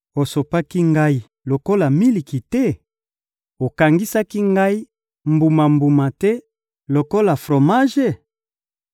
Osopaki ngai lokola miliki te? Okangisaki ngai mbuma-mbuma te lokola fromage?